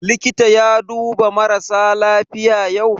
Likita ya duba marasa lafiya yau?